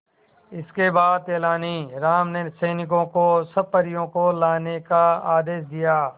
इसके बाद तेलानी राम ने सैनिकों को सब परियों को लाने का आदेश दिया